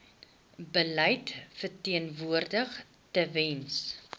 beleid verteenwoordig tewens